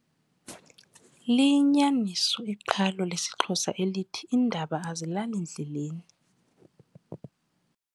Liyinyaniso iqhalo lesiXhosa elithi, Iindaba azilali ndleleni.